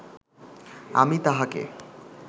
আমি তাহাকে